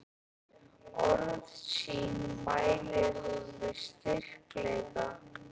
Orð sín mælir hún með styrkleika.